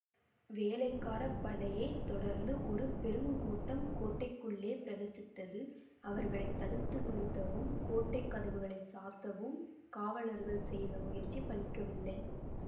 வேளக்காரப் படையை தொடர்ந்து ஒரு பெருங்கூட்டம் கோட்டைக்குள்ளே பிரவசித்தது அவர்களை தடுத்து நிறுத்தவும் கோட்டை கதவுகளைச் சாத்தவும் காவலர்கள் செய்த முயற்சி பலிக்கவில்லை